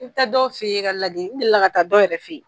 I bi taa dɔw fe yen, ka ladi n delila ka taa dɔw yɛrɛ fe yen